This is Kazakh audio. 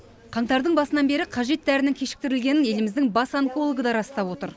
қаңтардың басынан бері қажет дәрінің кешіктірілгенін еліміздің бас онкологы да растап отыр